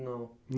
Não.